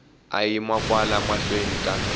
a yima kwala mahlweni ka